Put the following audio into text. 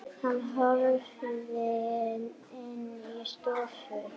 Hann hörfaði inn í stofu.